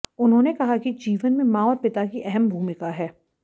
उन्होंने कहा कि जीवन में माँ और पिता की अहम भूमिका है